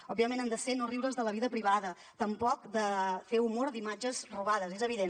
òbviament han de ser no riure’s de la vida privada tampoc fer humor d’imatges robades és evident